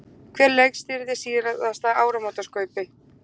Hver leikstýrði síðasta áramótaskaupi?